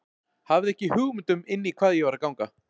Hafði ekki hugmynd um inn í hvað ég var að ganga.